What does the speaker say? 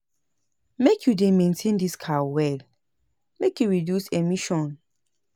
Make you dey maintain dis car well make e reduce emission.